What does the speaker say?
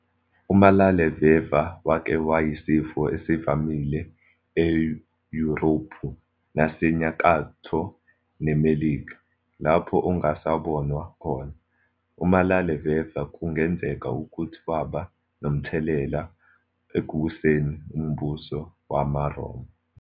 Umalaleveva wake wayisifo esivamile e-Yurophu naseNyakatho neMelika, lapho ongasabonwa khona. Umalaleveva kungenzeka ukuthi waba nomthelela ekuwiseni umbuso wamaRoma.